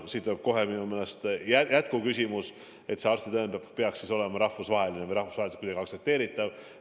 Siit tuleb kohe minu meelest jätkuküsimus, et kas see arstitõend peaks olema rahvusvaheline või rahvusvaheliselt aktsepteeritav.